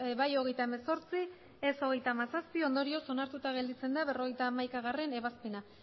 bai hogeita hemezortzi ez hogeita hamazazpi ondorioz onartuta gelditzen da berrogeita hamaikagarrena ebazpena